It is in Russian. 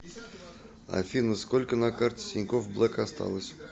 афина сколько на карте тинькофф блэк осталось